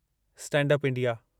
stand up India